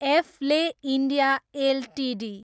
एफले India Ltd